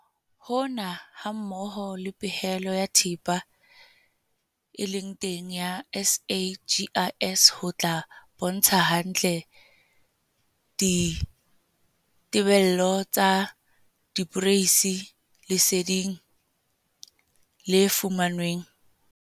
Hona, hammoho le pehelo ya thepa e leng teng ya SAGIS ho tla bontsha hantle ditebello tsa diporeisi leseding le fumanweng.